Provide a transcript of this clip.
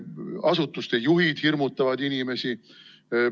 Asutuste juhid hirmutavad inimesi.